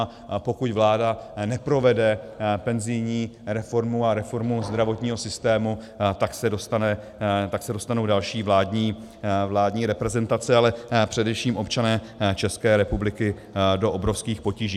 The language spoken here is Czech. A pokud vláda neprovede penzijní reformu a reformu zdravotního systému, tak se dostanou další vládní reprezentace, ale především občané České republiky do obrovských potíží.